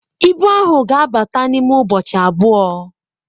Ibu ahụ ga-abata n'ime ụbọchị abụọ